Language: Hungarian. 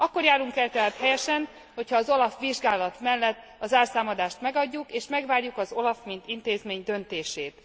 Akkor járunk el tehát helyesen, hogyha az OLAF vizsgálat mellett a zárszámadást elfogadjuk, és megvárjuk az OLAF mint intézmény döntését.